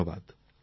ধন্যবাদ